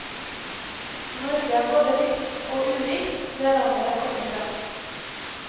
Norge er både likt og ulikt det landet jeg kommer fra.